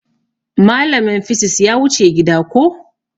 Malamin fisis ya wuce gida koh